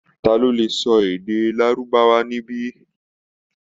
Ta ló lè sọ èdè Lárúbáwá níbí?